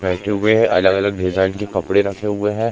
बैठे हुए हैं अलग-अलग डिजाइन के कपड़े रखे हुए हैं।